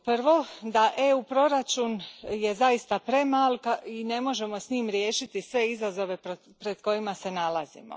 Prvo da je EU proračun zaista premal i ne možemo s njime riješiti sve izazove pred kojima se nalazimo.